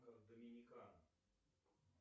доминикана